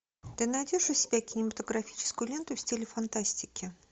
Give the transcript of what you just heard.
ты найдешь у себя кинематографическую ленту в стиле фантастики